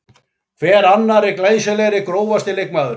Hver annarri glæsilegri Grófasti leikmaðurinn?